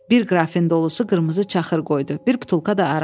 Bir qrafin dolusu qırmızı çaxır qoydu, bir butulka da araq.